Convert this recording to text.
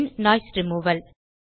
bin noise removal